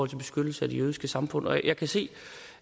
til beskyttelse af det jødiske samfund jeg kan se